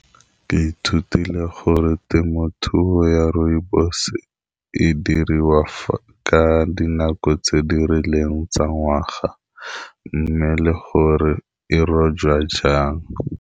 Ke ithutile gore temothuo ya rooibos e diriwa ka dinako tse di rileng tsa ngwaga, mme le gore e rojwa jang.